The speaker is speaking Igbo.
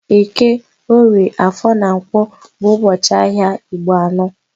Eke, orie, afor na Nkwo bụ ụbọchị ahịa Igbo anọ